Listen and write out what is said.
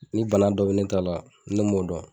Ni bana dɔ bi ne ta la ne m'o dɔn